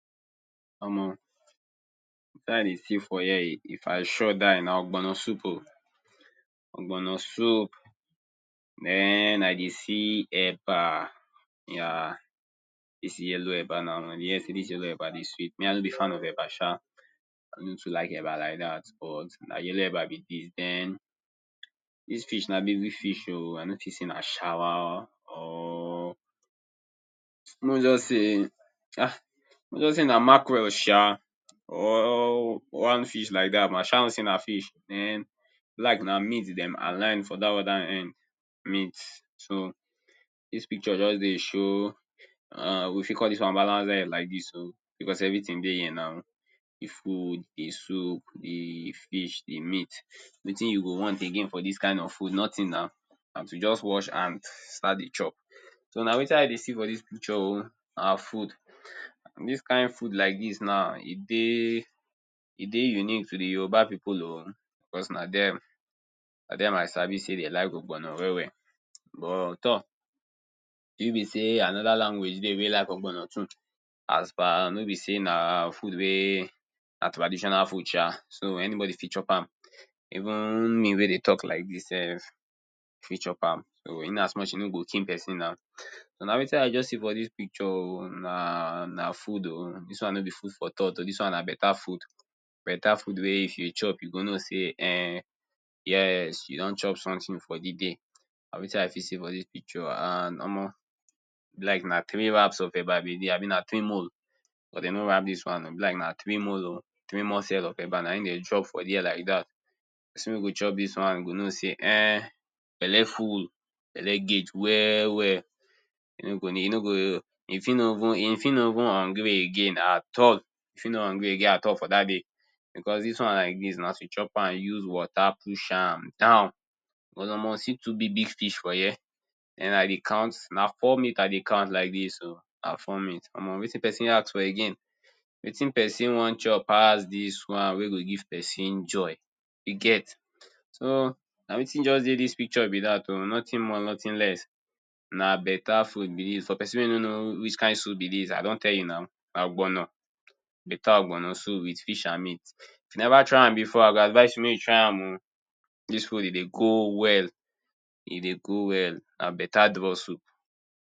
Omo, wetin i dey see for here, e if i sure die na ogbono soup oh. Ogbono soup mehn I dey see eba. ya dis yellow eba na. I dey hear sey dis yellow eba dey sweet. Me, I no be fan of eba sha. I no too like eba like dat but na yellow eba be dis. Den, dis fish na big big fish oh. I no fit sey na shawa or make we just say ha! make we just say na mackerel sha or one fish like dat but i sha know sey na fish. Mhen, e be like na meat dem align for dat other end, meat. So, dis picture just dey show um we fit call dis one balance diet like dis oh becos everything dey here na, the food, the soup, the fish, the meat. Wetin you go want again for dis kind of food? Nothing na. Na to just wash hand, start de chop. So, na wetin i dey see for dis picture oh, na food. Dis kind food like dis now, e dey e dey unique to the Yoruba pipu oh becos na dem, na dem i sabi sey de like ogbono well well. But tor! If e be sey anoda language dey wey like ogbono too. As per no be sey na food wey, na traditional food sha. So, anybody fit chop am. Even me wey dey talk lioke dis self, fit chop am. So, in as much sey e no go kill pesin nw. So, na wetin i just see for dis picture oh. Na na food oh. Dis one no be food for thought oh, dis one na better food. Better food wey if you chop, you go know sey um yes, you don chop something for the day. Na wetin i fit see for dis picture and omo, e be like na three wrap of eba be dis abi na three mole? but de no wrap dis one oh. E be like na three mole oh. Three moles of eba na im de drop for dere like dat. Pesin wey go chop dis one go know sey um, belle full. Belle guage well well. E no go need, e no go, e fit no even e fit no even hungry again at all. E fit no hungry again at all for dat day. Becos dios one like dis, na to chop am, you use water push am down. But omo, see two big big fish for here. Den i dey count, na four meat i dey count like dis oh. Na four meat. Omo wetin pesin ask for again? wetin pesin wan chop pass dis one wey go give pesin joy. You get? So, na wetin just dey dis picture be dat oh. Nothing more, nothing less. Na better food be dis. For peson wey no know whick kind soup be dis, I don tell you na. Na Ogbono. Better ogbono soup with fish and meat. If you neva try am before, I go advise you make you try am oh. Dis food, e dey go well. E dey go well. Na better draw soup.